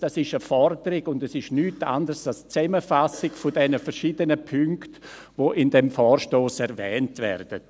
Das ist eine Forderung, und es ist nichts anderes als die Zusammenfassung der verschiedenen Punkte, die in diesem Vorstoss erwähnt werden.